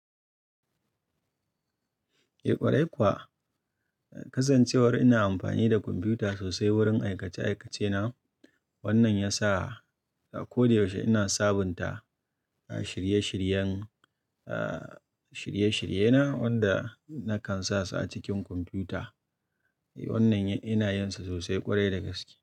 Eh ƙwarai kuwa, kasancewar ina amfani da kwamfuta sosai wurin aikace aikace na. Wannan ya sa a koyaushe ina sabunta a shirye shiryen, a shirye shirye na wanda na kan sa su a cikin kwamfuta. Wannan ina yin sa sosai ƙwarai da gaske.